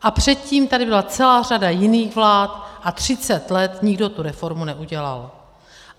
A předtím tady byla celá řada jiných vlád a třicet let nikdo tu reformu neudělal.